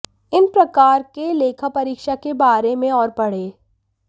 इन प्रकार के लेखापरीक्षा के बारे में और पढ़ें